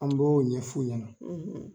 An b'o ɲɛ f'u ɲɛna.